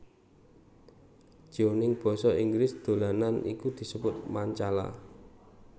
Jeoning basa Inggris dolanan iki disebut Mancala